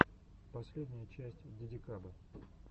последняя часть дидикабы